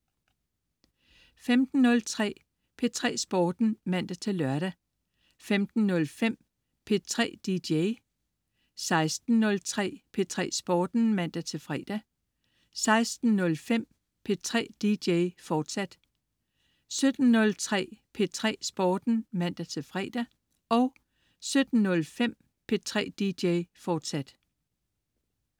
15.03 P3 Sporten (man-lør) 15.05 P3 dj 16.03 P3 Sporten (man-fre) 16.05 P3 dj, fortsat 17.03 P3 Sporten (man-fre) 17.05 P3 dj, fortsat